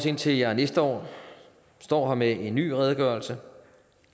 indtil jeg næste år står her med en ny redegørelse